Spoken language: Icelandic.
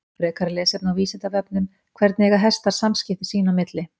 Frekara lesefni á Vísindavefnum: Hvernig eiga hestar samskipti sín á milli?